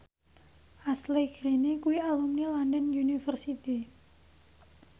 Ashley Greene kuwi alumni London University